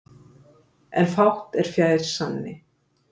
En fátt er fjær sanni.